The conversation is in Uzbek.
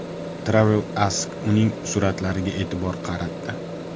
Travel Ask uning suratlariga e’tibor qaratdi.